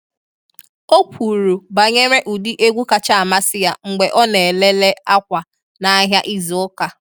O kwuru banyere ụdị egwu kacha amasị ya mgbe ọ na ele le akwa n’ahịa izu ụka.